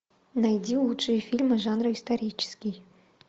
найди лучшие фильмы жанра исторический